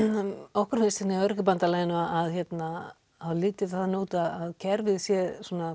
okkur finnst í Öryrkjabandalaginu að það líti þannig út að kerfið sé